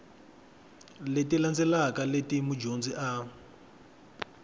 leti landzelaka leti mudyondzi a